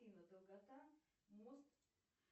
афина долгота мост